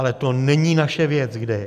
Ale to není naše věc, kde je.